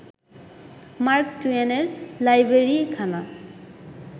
mark টুয়েনের লাইব্রেরিখানা